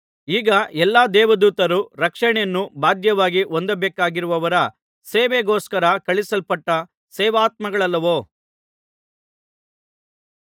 ಈ ಎಲ್ಲಾ ದೇವದೂತರು ರಕ್ಷಣೆಯನ್ನು ಬಾಧ್ಯವಾಗಿ ಹೊಂದಬೇಕಾಗಿರುವವರ ಸೇವೆಗೋಸ್ಕರ ಕಳುಹಿಸಲ್ಪಟ್ಟ ಸೇವಕಾತ್ಮಗಳಲ್ಲವೋ